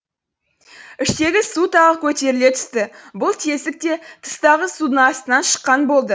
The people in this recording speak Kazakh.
іштегі су тағы көтеріле түсті бұл тесік те тыстағы судың астынан шыққан болды